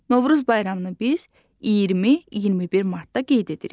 Novruz bayramını biz 20, 21 martda qeyd edirik.